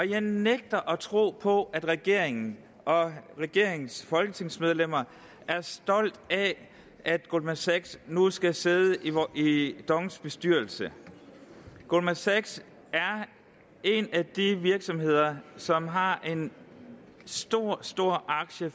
jeg nægter at tro på at regeringen og regeringens folketingsmedlemmer er stolte af at goldman sachs nu skal sidde i dongs bestyrelse goldman sachs er en af de virksomheder som har en stor stor aktie